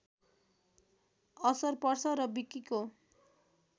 असर पर्छ र विकिको